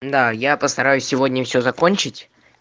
да я постараюсь сегодня все закончить